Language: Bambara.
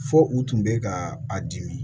Fo u tun bɛ ka a dimi